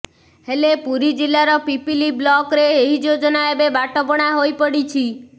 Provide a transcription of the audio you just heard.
ହେଲେ ପୁରୀ ଜିଲ୍ଲାର ପିପିଲି ବ୍ଲକ୍ରେ ଏହି ଯୋଜନା ଏବେ ବାଟବଣା ହୋଇପଡ଼ିଛି